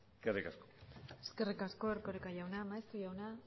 eskerrik asko eskerrik asko erkoreka jauna maeztu jauna